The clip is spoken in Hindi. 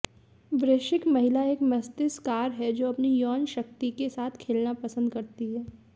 वृश्चिक महिला एक मस्तिष्ककार है जो अपनी यौन शक्ति के साथ खेलना पसंद करती है